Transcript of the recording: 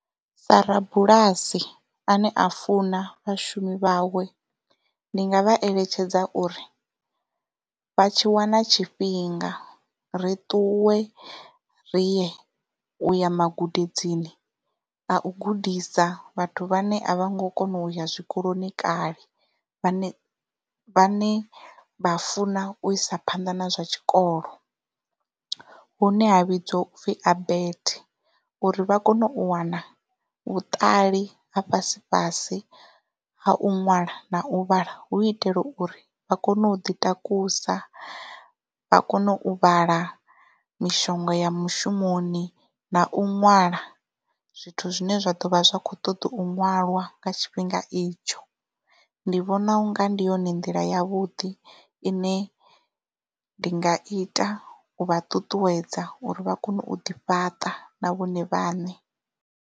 Sa rabulasi ane a funa vhashumi vhawe ndi nga vha eletshedza uri vha tshi wana tshifhinga ri ṱuwe ri ye uya magudedzini a u gudisa vhathu vhane a vho ngo kona uya zwikoloni kale vhane vha ne vha funa u isa phanḓa na zwa tshikolo hune ha vhidzwa upfhi abet uri vha kone u wana vhuṱali ha fhasi fhasi ha u ṅwala na u vhala hu itela uri vha kone u ḓi takusa vha kone u vhala mishonga ya mushumoni na u ṅwala zwithu zwine zwa ḓovha zwi kho ṱoḓa u ṅwalwa nga tshifhinga itsho ndi vhona unga ndi yone nḓila ya vhuḓi ine ndi nga ita u vha ṱuṱuwedza uri vha kone u ḓi fhaṱa na vhone vhaṋe.